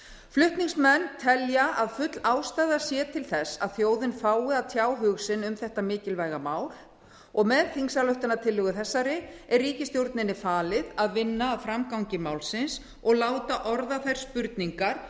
flutningsmenn telja að full ástæða sé til þess að þjóðin fái að tjá hug sinn um þetta mikilvæga mál og með þingsályktunartillögu þessari er ríkisstjórninni falið að vinna að framgangi málsins og láta orða þær spurningar